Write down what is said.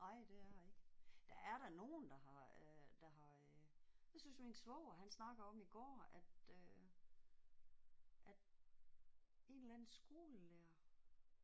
Ej det har ikke. Der er da nogen der har øh der har øh jeg synes min svoger han snakker om i går at øh at en eller anden skolelærer